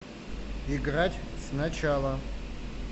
играть сначала